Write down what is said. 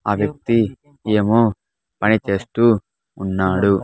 ఆ వ్యక్తి ఏమో పని చేస్తూ ఉన్నాడు.